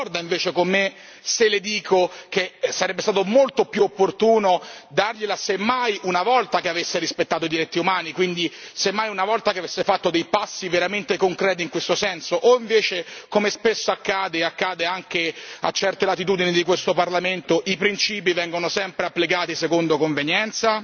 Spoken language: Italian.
Non concorda invece con me, se le dico che sarebbe stato molto più opportuno, dargliela semmai una volta che avesse rispettato i diritti umani. Quindi, semmai una volta che avesse fatto dei passi veramente concreti in questo senso o invece, come spesso accade e accade anche a certe latitudini di questo Parlamento, i principi vengono sempre applicati secondo convenienza?